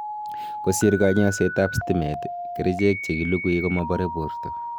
kosir kanyaishet ap stimet, kerichek chegilugui komapare porto